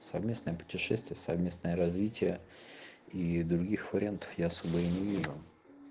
совместное путешествие совместное развитие и других вариантов я особо и не вижу